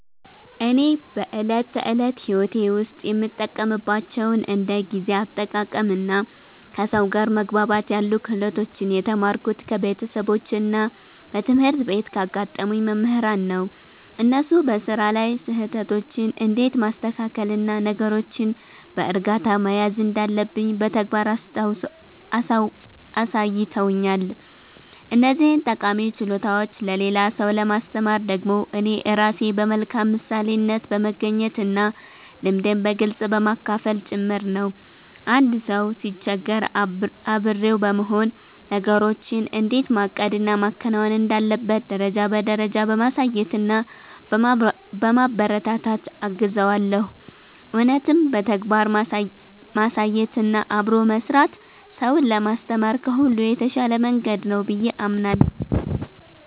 እኔ በዕለት ተዕለት ሕይወቴ ውስጥ የምጠቀምባቸውን እንደ ጊዜ አጠቃቀምና ከሰው ጋር መግባባት ያሉ ክህሎቶችን የተማርኩት ከቤተሰቦቼና በትምህርት ቤት ካጋጠሙኝ መምህራን ነው። እነሱ በሥራ ላይ ስህተቶችን እንዴት ማስተካከልና ነገሮችን በዕርጋታ መያዝ እንዳለብኝ በተግባር አሳይተውኛል። እነዚህን ጠቃሚ ችሎታዎች ለሌላ ሰው ለማስተማር ደግሞ እኔ ራሴ በመልካም ምሳሌነት በመገኘትና ልምዴን በግልጽ በማካፈል ጭምር ነው። አንድ ሰው ሲቸገር አብሬው በመሆን፣ ነገሮችን እንዴት ማቀድና ማከናወን እንዳለበት ደረጃ በደረጃ በማሳየትና በማበረታታት እገዘዋለሁ። እውነትም በተግባር ማሳየትና አብሮ መሥራት ሰውን ለማስተማር ከሁሉ የተሻለ መንገድ ነው ብዬ አምናለሁ።